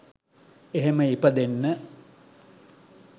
එහෙම ඉපදෙන්න